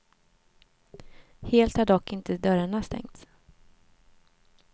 Helt har dock inte dörrarna stängts.